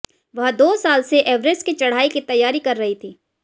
वह दो साल से एवरेस्ट की चढ़ाई की तैयारी कर रही थीं